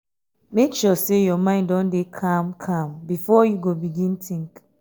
mek sure sey yur mind don dey calm calm bifor yu go begin tink